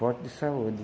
Forte de saúde.